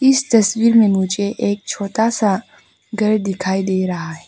इस तस्वीर में मुझे एक छोटा सा घर दिखाई दे रहा है।